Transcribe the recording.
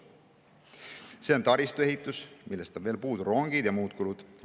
See on taristuehituse, sealt on veel puudu rongide ja muud kulud.